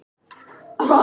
Ég var breytileg.